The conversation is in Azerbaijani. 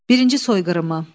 Birinci soyqırımı.